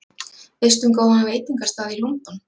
Veistu um góðan veitingastað í London?